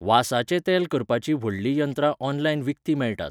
वासाचें तेल करपाचीं व्हडलीं यंत्रां ऑनलायन विकतीं मेळटात.